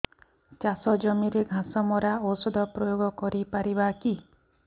ଚାଷ ଜମିରେ ଘାସ ମରା ଔଷଧ ପ୍ରୟୋଗ କରି ପାରିବା କି